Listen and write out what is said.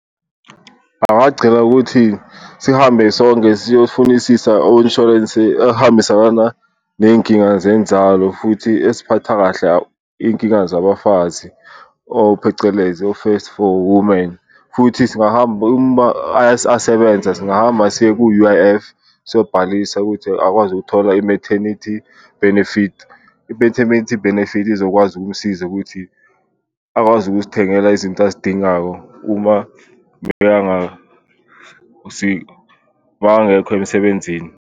Angagcila ukuthi sihambe sonke siyofunisisa o-insurance ehambisana ney'nkinga zenzalo futhi eziphatha kahle iy'nkinga zabafazi or phecelezi o-First for Women futhi singahamba uma asebenza siye ku-U_I_F siyobhalisa ukuthi akwazi ukuthola i-maternity benefit. I-maternity benefit izokwazi ukusiza ukuthi akwazi ukuzithengela izinto azidingayo uma makangekho emsebenzini.